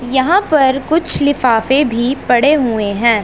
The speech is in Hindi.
यहां पर कुछ लिफाफे भी पड़े हुए हैं।